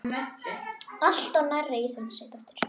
Alltof nærri.